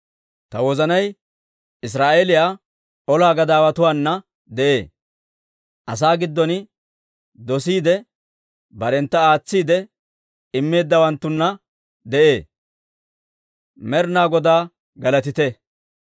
Ta wozanay Israa'eeliyaa ola gadaawatuwaana de'ee. Asaa giddon dosiide barentta aatsiide immeeddawanttuna de'ee. Med'inaa Godaa galatite!